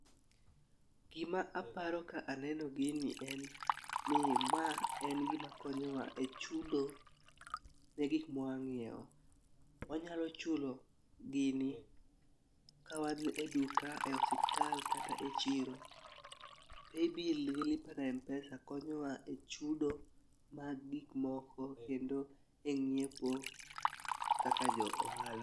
Gima aparo ka aneno gini en ni ma en gima konyowa e chudo ne gik mwa ng'iewo. Wanyalo chulo gini kawan e duka ,e osiptal kata echiro. Paybill gi lipa na mpesa konyowa e chudo mag gik moko kendo e ng'iepo kaka jo- ohala.